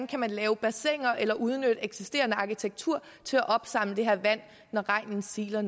kan lave bassiner eller udnytte eksisterende arkitektur til at opsamle det her vand når regnen siler